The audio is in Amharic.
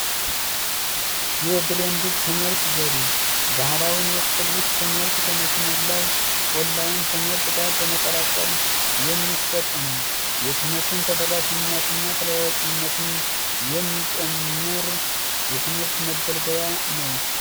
የብለን ትምህርት ዘዴ ባህላዊ የክፍል ውስጥ ትምህርት ከመስመር ላይን ትምህርት ጋር በመቀላቀል የሚሰጥ ነው የትምህርትን ተደራሽነት የሚጨመር የትምህርት መገልገያ ነው።